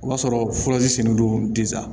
O b'a sɔrɔ furasilen don tɛ sa